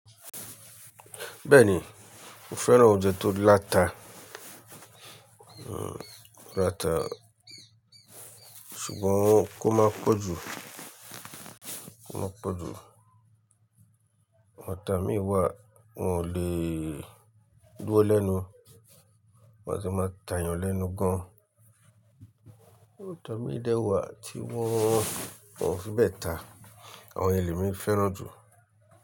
Bẹ́ẹ̀ni, mo fẹ́ràn oúnjẹ tó láta, láta ṣùgbọ́n kó máa pọ̀jù, kó máa pọ̀jù. Atá mí wà wọn ò lè dúró lẹ́nu, wọ́n á tì máa tàyàn lẹ́nu gan-an. Atá mi dẹ́wàá tí wọ́n ò fi bẹ́ẹ̀ tàá, àwọn yẹ̀n lèmí fẹ́ràn jù.